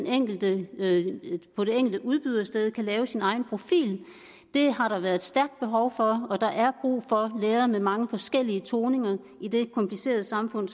enkelte udbydersted kan lave sin egen profil det har der været stærkt behov for og der er brug for lærere med mange forskellige toninger i det komplicerede samfund